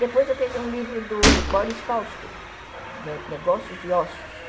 Depois eu peguei um livro do Boris Fausto, Negócios e Ócios.